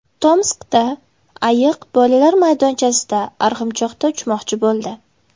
Tomskda ayiq bolalar maydonchasida arg‘imchoqda uchmoqchi bo‘ldi.